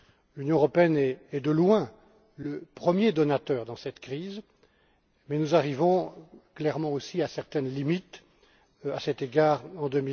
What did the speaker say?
L'Union européenne est, de loin, le premier donateur dans cette crise mais nous arrivons clairement aussi à certaines limites, à cet égard, en